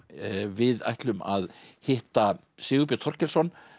við ætlum að hitta Sigurbjörn Þorkelsson